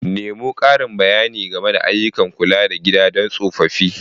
Nemo ƙarin bayani game da ayyukan kula da gida don tsofaffi.